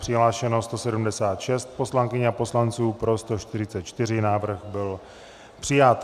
Přihlášeno 176 poslankyň a poslanců, pro 144, návrh byl přijat.